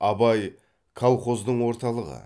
абай колхоздың орталығы